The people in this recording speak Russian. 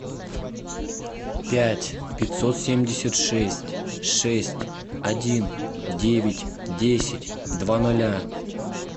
пять пятьсот семьдесят шесть шесть один девять десять два ноля